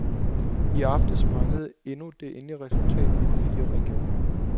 I aftes manglede endnu det endelige resultat fra fire regioner.